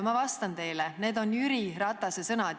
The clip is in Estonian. Ma vastan teile: need on Jüri Ratase sõnad.